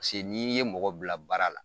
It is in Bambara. Paseke n'i ye mɔgɔ bila baara la